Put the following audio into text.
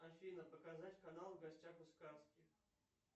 афина показать канал в гостях у сказки